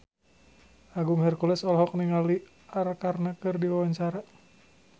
Agung Hercules olohok ningali Arkarna keur diwawancara